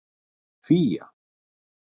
Fía